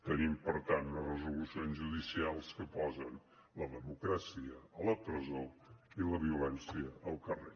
tenim per tant unes resolucions judicials que posen la democràcia a la presó i la violència al carrer